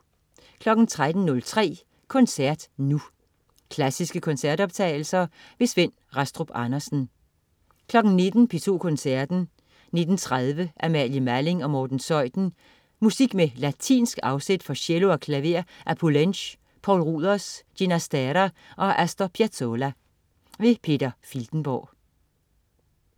13.03 Koncert Nu. Klassiske koncertoptagelser. Svend Rastrup Andersen 19.00 P2 Koncerten. 19.30 Amalie Malling og Morten Zeuthen. Musik med latinsk afsæt for cello og klaver af Poulenc, Poul Ruders, Ginastera og Astor Piazolla. Peter Filtenborg